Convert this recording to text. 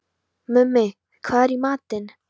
Mummi, hvað er í matinn?